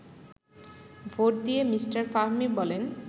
vote দিয়ে mister Fahmi বলেন